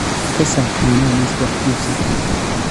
ka saar caanaha liiska wax iibsiga